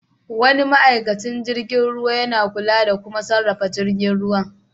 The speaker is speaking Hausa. Wani ma'aikacin jirgin ruwa yana kula da kuma sarrafa jirgin ruwa.